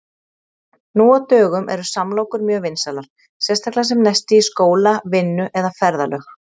Nú á dögum eru samlokur mjög vinsælar, sérstaklega sem nesti í skóla, vinnu eða ferðalög.